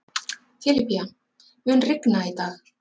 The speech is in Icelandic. Filipía, mun rigna í dag?